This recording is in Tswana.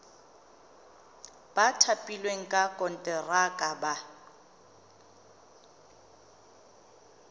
ba thapilweng ka konteraka ba